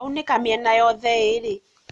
aunĩka mĩena yothe ĩrĩ